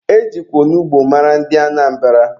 E jikwa onugbu mara ndị Anambra.